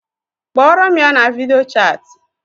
Kporo m ya na video chati